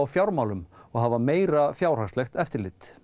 fjármálum og hafa meira fjárhagslegt eftirlit